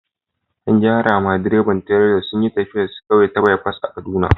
An gaya ma direban tileran sunyi taffiya kawai ta bipas a'Kaduna.